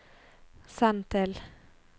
send til